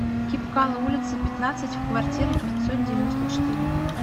кибкало улицы пятнадцать в квартиры пятьсот девяносто четыре